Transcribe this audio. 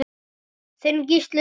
Þinn Gísli Frank.